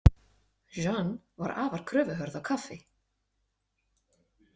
Jeanne var afar kröfuhörð á kaffi.